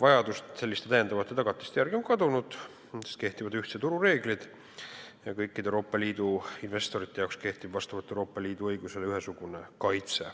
vajadus selliste lisatagatiste järgi on kadunud, sest kehtivad ühtse turu reeglid ja kõikidel Euroopa Liidu investoritel kehtib Euroopa Liidu õiguse kohaselt ühesugune kaitse.